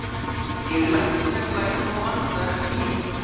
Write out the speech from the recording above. Ég lenti í smá vandræðum með bílinn.